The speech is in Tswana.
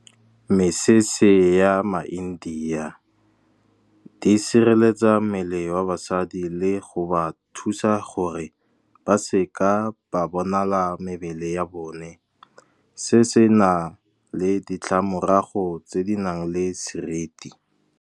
Mesese ya maIndia di sireletsa mmele wa basadi, le go ba thusa gore ba se ka ba bonala mebele ya bone. Se se na le ditlamorago tse di nang le seriti.